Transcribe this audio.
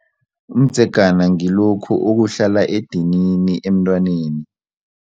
Umdzegana ngilokhu okuhlala edinini emntwaneni.